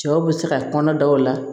Cɛw bɛ se ka kɔnɔ daw la